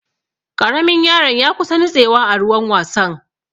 Ƙaramin yaron ya kusa nutsewa a ruwan wasan.